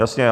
Jasně.